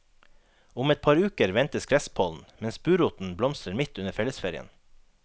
Om et par uker ventes gresspollen, mens buroten blomstrer midt under fellesferien.